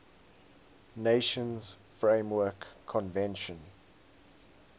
nations framework convention